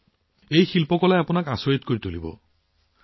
ইয়াৰে কিছুমান এনেকুৱা যে ই আপোনাক আচৰিত কৰি তুলিব